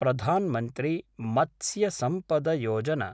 प्रधान् मन्त्री मत्स्य सम्पद योजना